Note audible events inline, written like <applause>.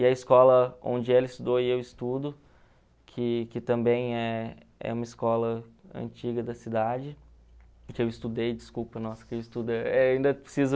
E a escola onde ela estudou e eu estudo, que que também é é uma escola antiga da cidade, que eu estudei, desculpa, nossa, que eu estudo <unintelligible> ainda preciso...